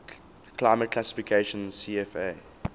climate classification cfa